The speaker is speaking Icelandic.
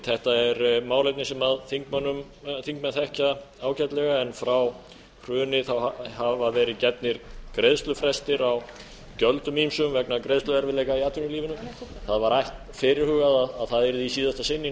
þetta er málefni sem þingmenn þekkja ágætlega en frá hruni hafa verið gefnir greiðslufrestir á gjöldum ýmsum vegna greiðsluerfiðleika í atvinnulífinu það var fyrirhugað að það yrði í síðasta sinn í nóvember